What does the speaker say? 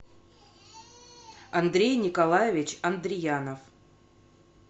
андрей николаевич андреянов